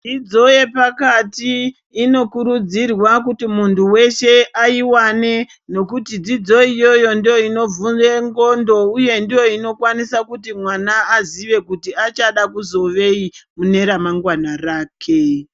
Dzidzo yepakati inokurudzirwa kuti muntu weshe aiwane nokuti dzidzo iyoyo ndooinovhure ndxondo uye ndoiinokwanisa kuti mwana azive kuti achada kuzivei mune ramangwana rake.